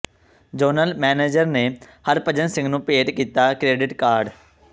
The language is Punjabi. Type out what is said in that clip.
ਜ਼ੋਨਲ ਮੈਨੇਜਰ ਨੇ ਹਰਭਜਨ ਸਿੰਘ ਨੂੰ ਭੇਟ ਕੀਤਾ ਕਰੈਡਿਟ ਕਾਰਡ